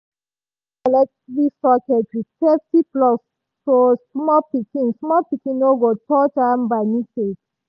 dem cover electric sockets with safety plug so small pikin small pikin no go touch am by mistake.